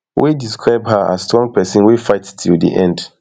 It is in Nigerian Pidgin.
dem describe her as strong pesin wey fight till di end